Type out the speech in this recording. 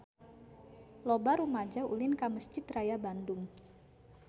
Loba rumaja ulin ka Mesjid Raya Bandung